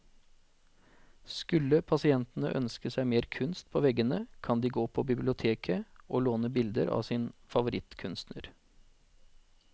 Skulle pasientene ønske seg mer kunst på veggene, kan de gå på biblioteket å låne bilder av sin favorittkunstner.